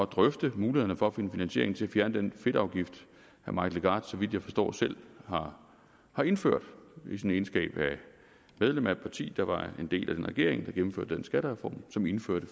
drøfte mulighederne for at finde finansiering til at fjerne den fedtafgift herre mike legarth så vidt jeg forstår selv har har indført i sin egenskab af medlem af et parti der var en del af den regering der gennemførte den skattereform som indførte